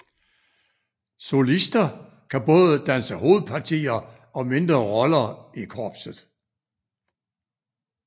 Solister kan både danse hovedpartier og mindre roller i korpset